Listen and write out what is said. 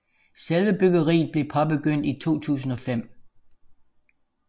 Selve byggeriet blev påbegyndt i 2005